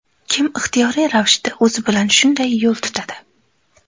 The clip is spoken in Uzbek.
Kim ixtiyoriy ravishda o‘zi bilan shunday yo‘l tutadi?